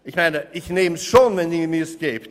Ich nehme dieses Geld schon, wenn Sie es mir geben.